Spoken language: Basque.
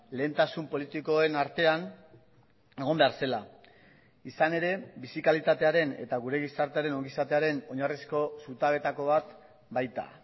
lehentasun politikoen artean egon behar zela izan ere bizi kalitatearen eta gure gizartearen ongizatearen oinarrizko zutabetako bat baita